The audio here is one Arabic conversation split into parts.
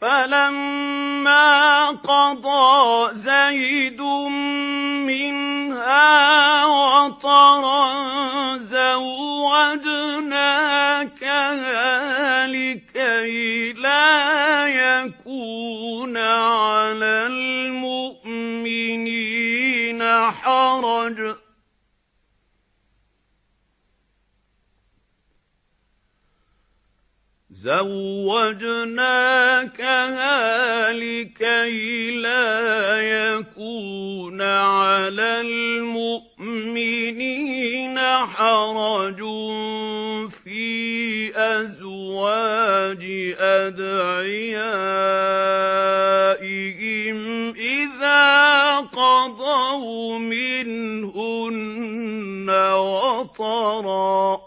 فَلَمَّا قَضَىٰ زَيْدٌ مِّنْهَا وَطَرًا زَوَّجْنَاكَهَا لِكَيْ لَا يَكُونَ عَلَى الْمُؤْمِنِينَ حَرَجٌ فِي أَزْوَاجِ أَدْعِيَائِهِمْ إِذَا قَضَوْا مِنْهُنَّ وَطَرًا ۚ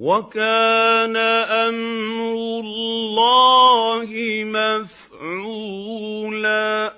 وَكَانَ أَمْرُ اللَّهِ مَفْعُولًا